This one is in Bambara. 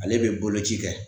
Ale be boloci kɛ